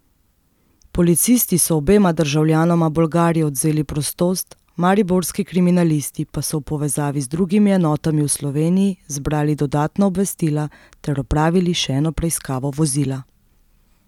Policisti so obema državljanoma Bolgarije odvzeli prostost, mariborski kriminalisti pa so v povezavi z drugimi enotami v Sloveniji zbrali dodatna obvestila ter opravili še eno preiskavo vozila.